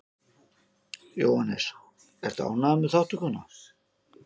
Jóhannes: Ertu ánægður með þátttökuna?